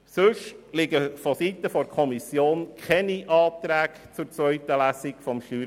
Ansonsten liegen vonseiten der Kommission keine Anträge zur zweiten Lesung des StG vor.